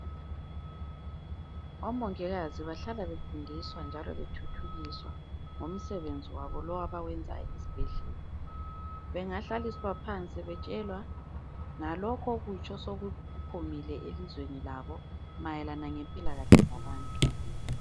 Omongikazi bahlala befundiswa njalo bethuthukiswa ngomsebenzi wabo lowo abawenzayo ezibhedlela, bengahlaliswa phansi betshelwa ngalokhu okutsha osokuphumile elizweni labo mayelana ngempilakahle zabantu